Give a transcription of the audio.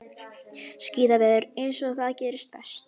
Skíðaveður eins og það gerist best.